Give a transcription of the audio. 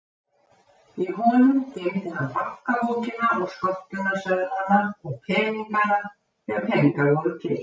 Í honum geymdi hann bankabókina og skömmtunarseðlana og peningana þegar peningar voru til.